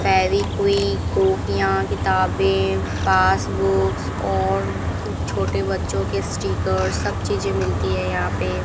फेविक्विक कॉपियां किताबें पासबुक्स और छोटे बच्चों के स्टिकर्स सब चीजे मिलती है यहां पे।